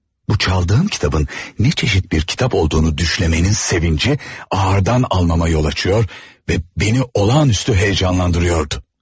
Bu çaldığım kitabın ne çeşit bir kitap olduğunu düşlemenin sevinci ağırdan almama yol açıyor ve beni olağanüstü heyecanlandırıyordu.